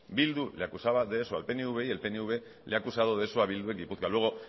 bildu le acusaba de eso al pnv y el pnv le ha acusado de eso a bildu en gipuzkoa luego